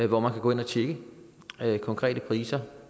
hvor man kan gå ind og tjekke konkrete priser